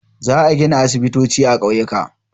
Za a gina aisibitoci a ƙauyuka.